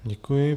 Děkuji.